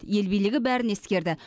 ел билігі бәрін ескерді